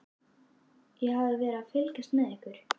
Ég hafði verið að fylgjast með ykkur.